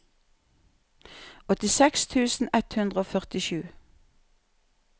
åttiseks tusen ett hundre og førtisju